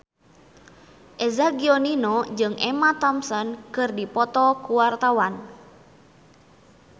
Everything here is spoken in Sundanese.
Eza Gionino jeung Emma Thompson keur dipoto ku wartawan